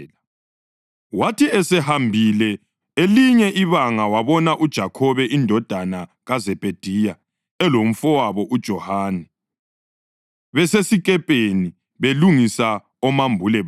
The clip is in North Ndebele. Wathi esehambile elinye ibanga wabona uJakhobe indodana kaZebhediya elomfowabo uJohane besesikepeni, belungisa omambule babo.